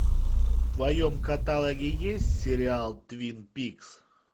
в твоем каталоге есть сериал твин пикс